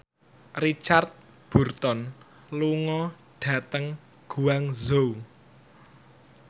Richard Burton lunga dhateng Guangzhou